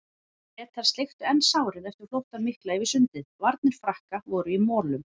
Bretar sleiktu enn sárin eftir flóttann mikla yfir sundið, varnir Frakka voru í molum.